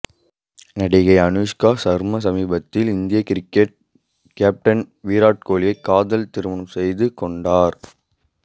நடிகை அனுஷ்கா சர்மா சமீபத்தில் இந்திய கிரிக்கெட் கேப்டன் விராட் கோலியை காதல் திருமணம் செய்துகொண்டார்